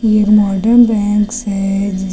एक modern banks है जिस--